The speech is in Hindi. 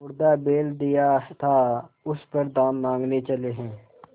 मुर्दा बैल दिया था उस पर दाम माँगने चले हैं